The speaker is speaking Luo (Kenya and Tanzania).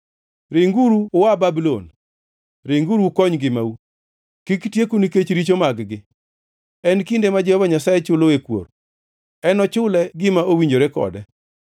“Ringuru ua Babulon! Ringuru ukony ngimau! Kik tieku nikech richo mag-gi. En kinde ma Jehova Nyasaye chuloe kuor; enochule gima owinjore kode.